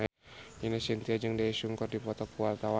Ine Shintya jeung Daesung keur dipoto ku wartawan